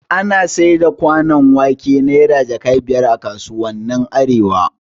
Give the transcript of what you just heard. Ana saida kwanon wake Naira jaka biyar a kasuwannin arewa